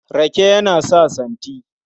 Rake yana sa santi.